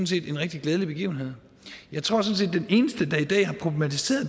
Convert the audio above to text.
set en rigtig glædelig begivenhed jeg tror at den eneste der i dag